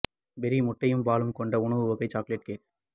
berry முட்டையும் பாலும் கொண்ட உணவு வகை கொண்ட சாக்லேட் கேக்